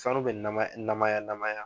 Sanu bɛ nama namaya namaya.